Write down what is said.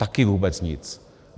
Taky vůbec nic.